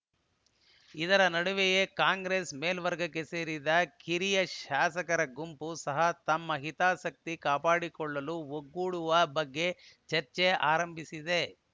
ಇದರ ನಡುವೆಯೇ ಕಾಂಗ್ರೆಸ್‌ನ ಮೇಲ್ವರ್ಗಕ್ಕೆ ಸೇರಿದ ಕಿರಿಯ ಶಾಸಕರ ಗುಂಪು ಸಹ ತಮ್ಮ ಹಿತಾಸಕ್ತಿ ಕಾಪಾಡಿಕೊಳ್ಳಲು ಒಗ್ಗೂಡುವ ಬಗ್ಗೆ ಚರ್ಚೆ ಆರಂಭಿಸಿದೆ